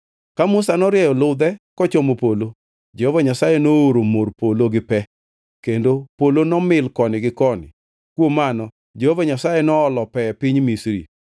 Ka Musa norieyo ludhe kochomo polo, Jehova Nyasaye nooro mor polo gi pe kendo polo nomil koni gi koni, kuom mano Jehova Nyasaye noolo pe e piny Misri.